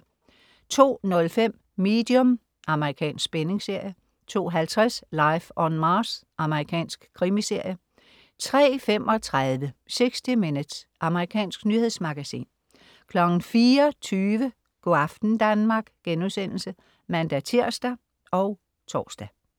02.05 Medium. Amerikansk spændingsserie 02.50 Life on Mars. Amerikansk krimiserie 03.35 60 Minutes. Amerikansk nyhedsmagasin 04.20 Go' aften Danmark* (man-tirs og tors)